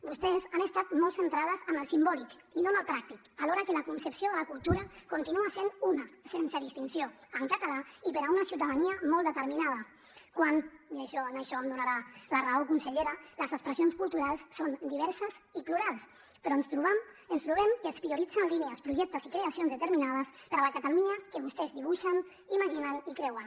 vostès han estat molt centrades en el simbòlic i no en el pràctic alhora que la concepció de la cultura continua sent una sense distinció en català i per a una ciutadania molt determinada quan i en això em donarà la raó consellera les expressions culturals són diverses i plurals però ens trobem que es prioritzen línies projectes i creacions determinades per a la catalunya que vostès dibuixen imaginen i creuen